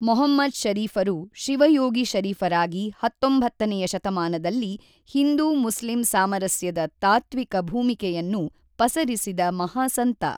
ಮಹಮ್ಮದ್ ಶರೀಫರು ಶಿವಯೋಗಿ ಶರೀಫರಾಗಿ ಹತ್ತೊಂಭತ್ತನೆಯ ಶತಮಾನದಲ್ಲಿ ಹಿಂದೂ ಮುಸ್ಲಿಂ ಸಾಮರಸ್ಯದ ತಾತ್ತ್ವಿಕ ಭೂಮಿಕೆಯನ್ನು ಪಸರಿಸಿದ ಮಹಾಸಂತ.